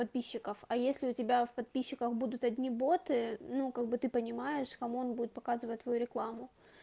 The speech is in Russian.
подписчиков а если у тебя в подписчиках будут одни боты ну как бы ты понимаешь кому он будет показывать твою рекламу